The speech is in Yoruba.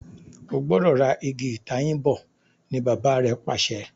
o gbọdọ rà Ìgi ìtayín bó! ní Bàbá rẹ pàṣẹ.